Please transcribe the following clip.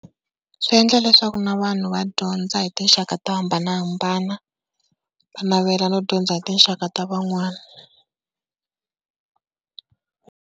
Swi endla leswaku na vanhu va dyondza hi tinxaka to hambanahambana. Va navela no dyondza hi tinxaka ta van'wana.